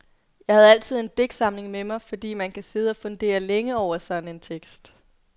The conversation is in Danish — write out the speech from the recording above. Jeg havde altid en digtsamling med mig, fordi man kan sidde og fundere længe over sådan en tekst.